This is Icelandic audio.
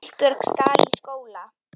Ísbjörg skal í skóla.